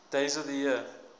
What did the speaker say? days of the year